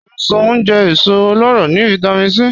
Ọ̀ṣọ̀n jẹ́ èsò ọlọ́rọ́ ni Vitamin C.